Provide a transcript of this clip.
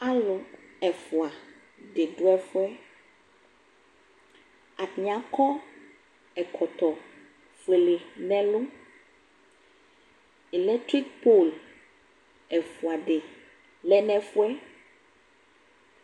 Alʋ ɛfʋa dɩ dʋ ɛfʋ yɛ Atanɩ akɔ ɛkɔtɔ fuele nʋ ɛlʋ Elɛktrik pod ɛfʋa dɩ lɛ nʋ ɛfʋ yɛ